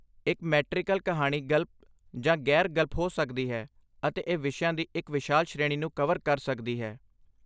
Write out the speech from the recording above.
ਇੱਕ ਮੈਟ੍ਰਿਕਲ ਕਹਾਣੀ ਗਲਪ ਜਾਂ ਗ਼ੈਰ ਗਲਪ ਹੋ ਸਕਦੀ ਹੈ, ਅਤੇ ਇਹ ਵਿਸ਼ਿਆਂ ਦੀ ਇੱਕ ਵਿਸ਼ਾਲ ਸ਼੍ਰੇਣੀ ਨੂੰ ਕਵਰ ਕਰ ਸਕਦੀ ਹੈ